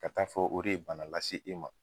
Ka taa fɔ o de ye bana las'i ma.